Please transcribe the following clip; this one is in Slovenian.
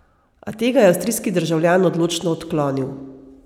A tega je avstrijski državljan odločno odklonil.